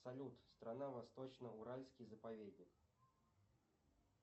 салют страна восточно уральский заповедник